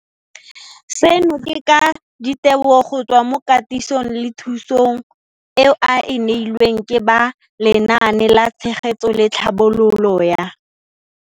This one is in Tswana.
Seno ke ka ditebogo go tswa mo katisong le thu song eo a e neilweng ke ba Lenaane la Tshegetso le Tlhabololo ya